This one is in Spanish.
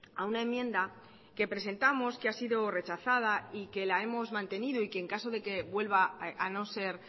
a una enmienda que presentamos que ha sido rechazada y que la hemos mantenido y que en caso de que vuelva a no ser